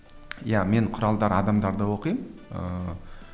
иә мен құралдар адамдарды оқимын ыыы